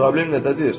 Problem nədədir?